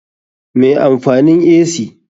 Me amfanin ac?